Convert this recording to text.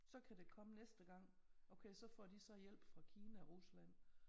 Så kan det komme næste gang okay så får de så hjælp fra Kina Rusland